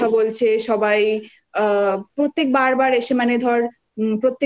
সবাই যেভাবে কথা বলছে সবাই আ প্রত্যেক বারবার